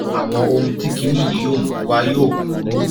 àwọn ohun tí kinní yìí yóò mú wá yóò burú